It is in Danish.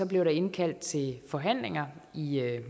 blev der indkaldt til forhandlinger i